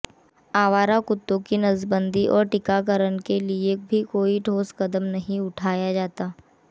आवारा कुत्तो की नसबंदी और टीकाकरण के लिए भी कोई ठोस कदम नहीं उठाया जाता